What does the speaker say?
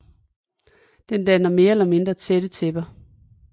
Den danner mere eller mindre tætte tæpper